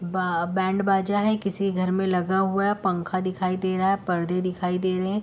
बा बैंड बाजा है। किसी घर में लगा हुआ है। पंखा दिखाइ दे रहा है। पर्दे दिखाई दे रहे हैं।